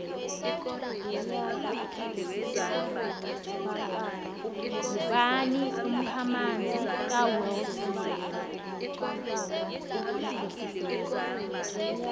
ngubani umkhamanzi kawillsmith